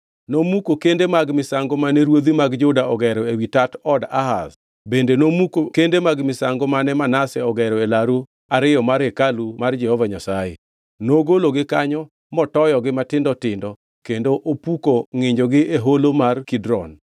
Nomuko kende mag misango mane ruodhi mag Juda ogero ewi tat od Ahaz, bende nomuko kende mag misango mane Manase ogero e laru ariyo mar hekalu mar Jehova Nyasaye. Nogologi kanyo, motoyogi matindo tindo kendo opuko ngʼinjogo e holo mar Kidron.